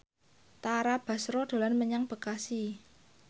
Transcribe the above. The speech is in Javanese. Tara Basro dolan menyang Bekasi